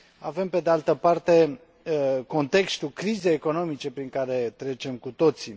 Avem, pe de altă parte, contextul crizei economice prin care trecem cu toții.